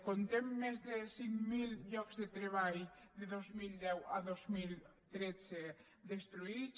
comptem més de cinc mil llocs de treball de dos mil deu a dos mil tretze destruïts